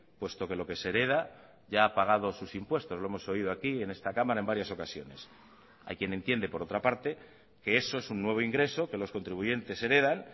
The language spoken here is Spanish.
puesto que lo que se hereda ya ha pagado sus impuestos lo hemos oído aquí en esta cámara en varias ocasiones hay quien entiende por otra parte que eso es un nuevo ingreso que los contribuyentes heredan